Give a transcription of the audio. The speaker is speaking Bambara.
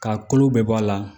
K'a kolo bɛɛ bɔ a la